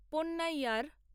Ponnaiyar